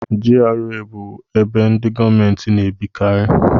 GRA bụ ebe ndị gọọmenti na-ebikarị.